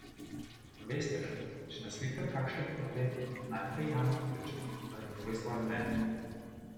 Veste, če naslikam kakšen portret, najprej Jana pokličem, da mi pove svoje mnenje.